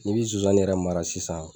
N'i bɛ zonzan yɛrɛ mara sisan